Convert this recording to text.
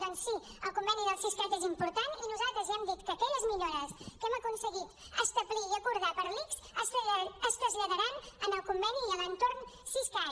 doncs sí el conveni del siscat és important i nosaltres ja hem dit que aquelles millores que hem aconseguit establir i acordar per a l’ics es traslladaran al conveni i a l’entorn siscat